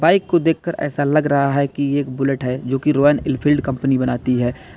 Bike को देखकर ऐसा लग रहा है कि ये एक बुलेट है जो की रॉयन इनफील्ड कंपनी बनाती है।